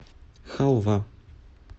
халва